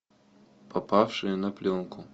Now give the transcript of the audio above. попавшие на пленку